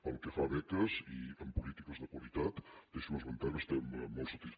pel que fa a beques i en polítiques de qualitat deixi’m esmentar que estem molt satis